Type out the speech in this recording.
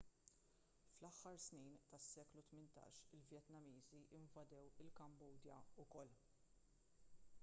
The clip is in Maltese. fl-aħħar snin tas-seklu 18 il-vjetnamiżi invadew il-kambodja wkoll